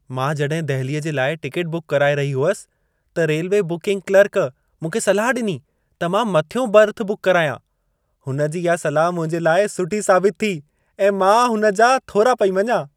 मां जॾहिं दहिलीअ जे लाइ टिकेट बुक कराए रही हुअसि, त रेल्वे बुकिंग क्लर्क मूंखे सलाह ॾिनी त मां मथियों बर्थ बुक करायां। हुन जी इहा सलाह मुंहिंजे लाइ सुठी साबित थी ऐं मां हुन जा थोरा पेई मञां।